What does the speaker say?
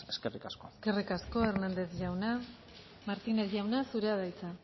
eskerrik asko eskerrik asko hérnandez jauna martínez jauna zurea da hitza